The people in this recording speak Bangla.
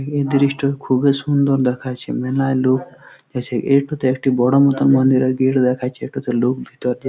এই দ্রিস্ট খুবই সুন্দর দেখাচ্ছে। মেলায় লোক গেছে এটিতে একটি বড় মতন মন্দিরের গেট দেখাচ্ছে এটিতে লোক ভিতর দিয়া --